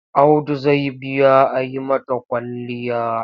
Audu zai biya a yi mata kwalliya.